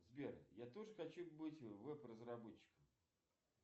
сбер я тоже хочу быть веб разработчиком